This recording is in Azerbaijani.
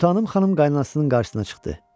Sultanım xanım qaynasının qarşısına çıxdı.